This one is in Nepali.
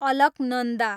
अलकनन्दा